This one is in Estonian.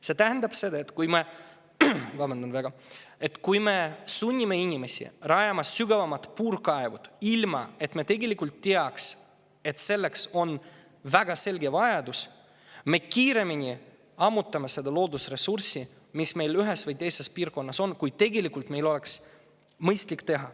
See tähendab seda, et kui me sunnime inimesi rajama sügavamaid puurkaeve, ilma et selleks oleks väga selge vajadus, siis me ammutame selle loodusressursi, mis meil ühes või teises piirkonnas on, kiiremini, kui tegelikult oleks mõistlik.